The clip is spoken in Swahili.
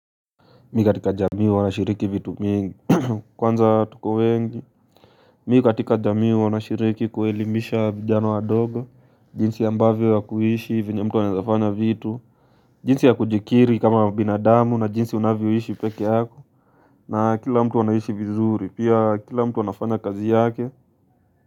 Mimi katika jamii huwa nashiriki vitu mingi Kwanza tuko wengi mimi katika jamii huwa nashiriki kuelimisha vijana wadogo jinsi ambavyo ya kuishi venye mtu anaezafanya vitu jinsi ya kujikiri kama binadamu na jinsi unavyoishi pekee yako na kila mtu anaishi vizuri pia kila mtu anafanya kazi yake.